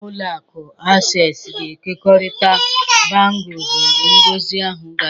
Ụlọ akụ Access ga-ekekọrịta bangles mgbe ngosi ahụ gasịrị.